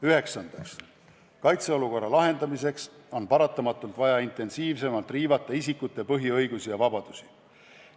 Üheksandaks, kaitseolukorra lahendamiseks on paratamatult vaja intensiivsemalt riivata isikute põhiõigusi ja -vabadusi.